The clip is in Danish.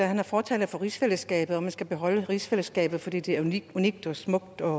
han er fortaler for rigsfællesskabet og at man skal beholde rigsfællesskabet fordi det er unikt unikt og smukt og